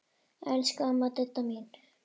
Elsku amma Didda mín.